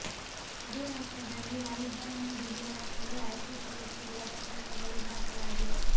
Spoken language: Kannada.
ಅದೇ ವರ್ಷದಲ್ಲಿ ಲೈವ್ ಬ್ಯಾಂಡ್ ಹುಡುಗಿಯರ ಮೇಲೂ ಆ್ಯಸಿಡ್ ಎರಚಿರುವ ಪ್ರಕರಣಗಳು ದಾಖಲಾಗಿವೆ